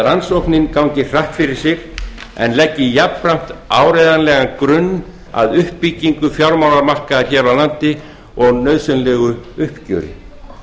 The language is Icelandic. að rannsóknin gangi hratt fyrir sig en leggi jafnframt áreiðanlegan grunn að uppbyggingu fjármálamarkaðar hér á landi og nauðsynlegu uppgjöri